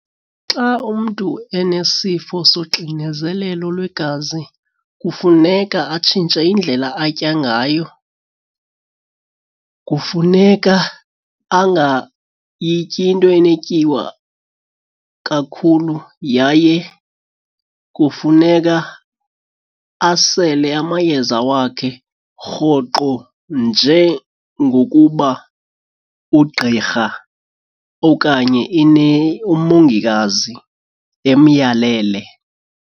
Xa umntu enesifo soxinezelelo lwegazi kufuneka atshintshe indlela atya ngayo. Kufuneka angayityi into enetyiwa kakhulu yaye kufuneka asele amayeza wakhe rhoqo njengokuba ugqirha okanye umongikazi emyalele.